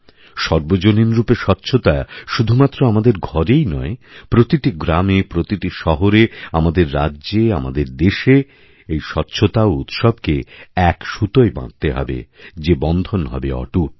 সর্বজনীনরূপে স্বচ্ছতাশুধুমাত্র আমাদের ঘরেই নয় প্রতিটি গ্রামে প্রতিটি শহরে আমাদের রাজ্যে আমাদেরদেশে এই স্বচ্ছতা ও উৎসবকে এক সুতোয় বাঁধতে হবে যে বন্ধন হবে অটুট